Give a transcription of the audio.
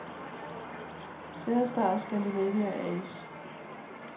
Cerestar Scandinavia A/S